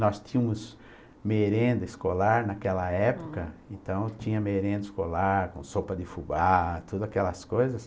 Nós tínhamos merenda escolar naquela época, hm, então tinha merenda escolar, com sopa de fubá, todas aquelas coisas.